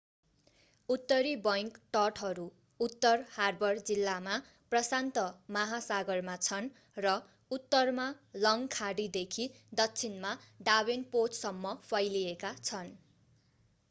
उत्तरी बैंक तटहरू उत्तर हार्बर जिल्लामा प्रशान्त महासागरमा छन् र उत्तरमा लङ्ग खाडीदेखि दक्षिणमा डाभेनपोर्टसम्म फैलिएका छन्।